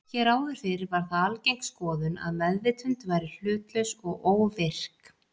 Hér áður fyrr var það algeng skoðun að meðvitund væri hlutlaus og óvirk.